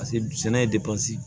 Paseke sɛnɛ ye